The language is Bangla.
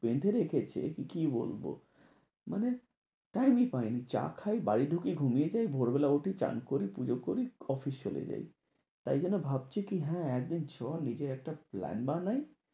বেঁধে রেখেছে। কি বলবো? মানে time ই পাইনি, চা খাই, বাড়ি ঢুকি, ঘুমিয়ে যাই, ভোরবেলা উঠি, চান করি, পুজো করি, অফিস চলে যাই। তাই জন্য ভাবছি কি হ্যাঁ একদিন চল এটার একটা plan বানাই।